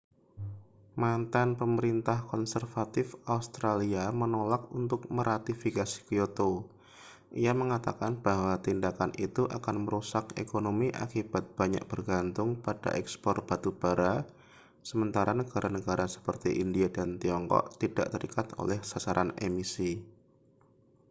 mantan pemerintah konservatif australia menolak untuk meratifikasi kyoto ia mengatakan bahwa tindakan itu akan merusak ekonomi akibat banyak bergantung pada ekspor batu bara sementara negara-negara seperti india dan tiongkok tidak terikat oleh sasaran emisi